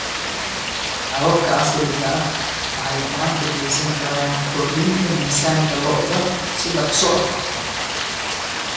Hababka casriga ahi waxay gacan ka geysan karaan kordhinta miisaanka lo'da si dhakhso ah.